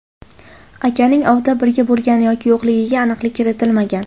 Akaning ovda birga bo‘lgan yoki yo‘qligiga aniqlik kiritilmagan.